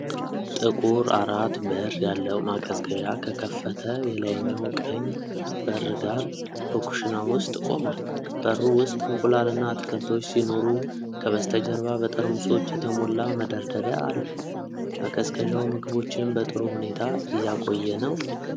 ጥቁር አራት-በር ያለው ማቀዝቀዣ ከከፈተ የላይኛው ቀኝ በር ጋር በኩሽና ውስጥ ቆሟል። በሩ ውስጥ እንቁላልና አትክልቶች ሲኖሩ ከበስተጀርባ በጠርሙሶች የተሞላ መደርደሪያ አለ። ማቀዝቀዣው ምግቦችን በጥሩ ሁኔታ እያቆየ ነው?